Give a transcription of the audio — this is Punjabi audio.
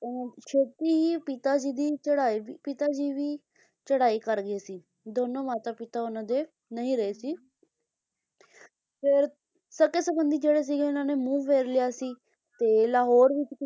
ਉਹ ਛੇਤੀ ਹੀ ਪਿਤਾ ਜੀ ਦੀ ਚੜਾਈ ਦੀ ਪਿਤਾ ਜੀ ਵੀ ਚੜਾਈ ਕਰਗੇ ਸੀ ਲਾਹੌਰ ਵਿੱਚ